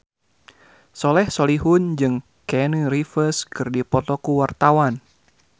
Soleh Solihun jeung Keanu Reeves keur dipoto ku wartawan